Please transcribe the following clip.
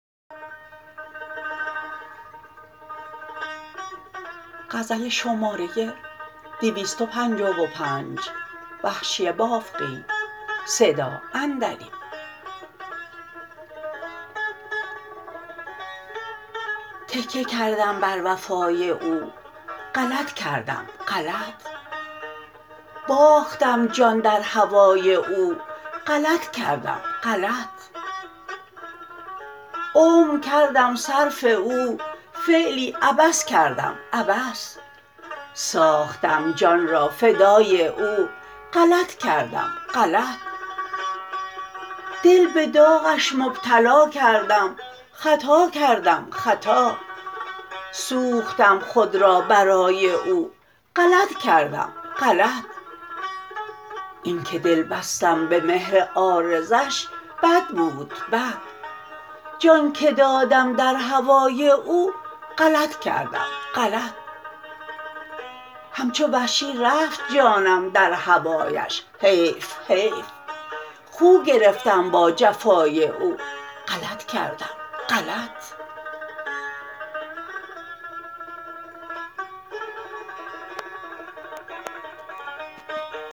تکیه کردم بر وفای او غلط کردم غلط باختم جان در هوای او غلط کردم غلط عمر کردم صرف او فعلی عبث کردم عبث ساختم جان را فدای او غلط کردم غلط دل به داغش مبتلا کردم خطا کردم خطا سوختم خود را برای او غلط کردم غلط اینکه دل بستم به مهر عارضش بد بود بد جان که دادم در هوای او غلط کردم غلط همچو وحشی رفت جانم در هوایش حیف حیف خو گرفتم با جفای او غلط کردم غلط